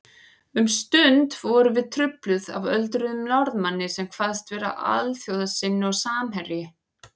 Um stund vorum við trufluð af öldruðum Norðmanni sem kvaðst vera alþjóðasinni og samherji